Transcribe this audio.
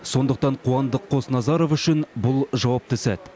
сондықтан қуандық қосназаров үшін бұл жауапты сәт